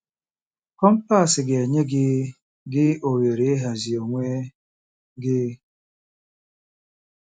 Kọmpas ga-enye gị gị ohere ịhazi onwe gị.